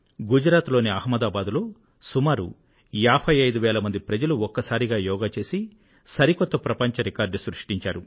గుజరాత్ లోని అహమదాబాద్ లో సుమారు 55 వేల మంది ప్రజలు ఒక్కసారిగా యోగా చేసి సరికొత్త ప్రపంచ రికార్డు సృష్టించారు